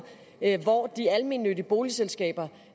hvor de almennyttige boligselskaber